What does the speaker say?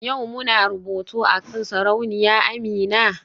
Yau muna rubutu akan Sarauniya Amina?